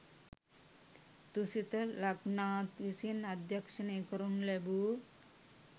තුසිත ලක්නාත් විසින් අධ්‍යක්ෂනය කරනු ලැබූ